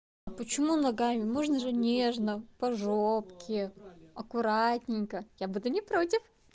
а почему ногами можно же нежно по жопке аккуратненько я буду не против